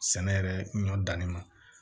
Sɛnɛ yɛrɛ ɲɔ danni ma